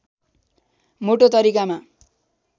मोटो तरिकामा